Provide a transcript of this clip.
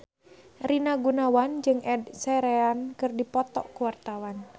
Rina Gunawan jeung Ed Sheeran keur dipoto ku wartawan